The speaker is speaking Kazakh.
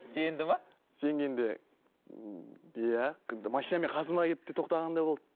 сенді ме сенгенде ммм иә тіпті машинамен қасыма келіп те тоқтағандар болды